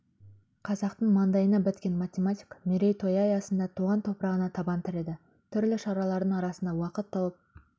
қазақтың маңдайына біткен математик мерейтойы аясында туған топырағына табан тіреді түрлі шаралардың арасында уақыт тауып